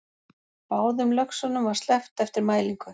Báðum löxunum var sleppt eftir mælingu